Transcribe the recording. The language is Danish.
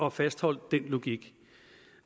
at fastholde den logik